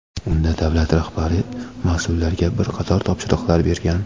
Unda davlat rahbari mas’ullarga bir qator topshiriqlar bergan.